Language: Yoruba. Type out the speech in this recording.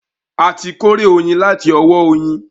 A ti kórè oyin láti ọwọ́ oyin